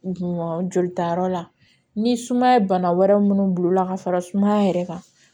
Jolitayɔrɔ la ni sumaya ye bana wɛrɛ minnu bil'o la ka fara sumaya yɛrɛ kan